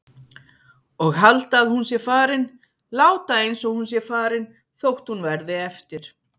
Og halda að hún sé farin, láta einsog hún sé farin þótt hún verði eftir.